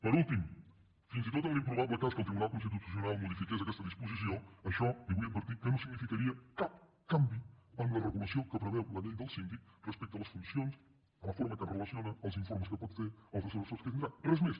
per últim fins i tot en l’improbable cas que el tribunal constitucional modifiqués aquesta disposició això li vull advertir que no significaria cap canvi en la regulació que preveu la llei del síndic respecte a les funcions a la forma com es relaciona els informes que pot fer els assessors que tindrà res més